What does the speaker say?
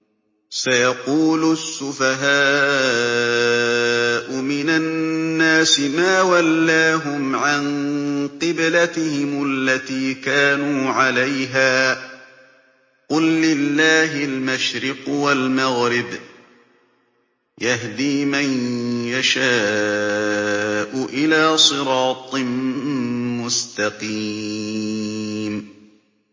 ۞ سَيَقُولُ السُّفَهَاءُ مِنَ النَّاسِ مَا وَلَّاهُمْ عَن قِبْلَتِهِمُ الَّتِي كَانُوا عَلَيْهَا ۚ قُل لِّلَّهِ الْمَشْرِقُ وَالْمَغْرِبُ ۚ يَهْدِي مَن يَشَاءُ إِلَىٰ صِرَاطٍ مُّسْتَقِيمٍ